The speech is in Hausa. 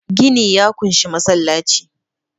gini ya kunshi masallaci